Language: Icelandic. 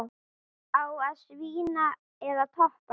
Á að svína eða toppa?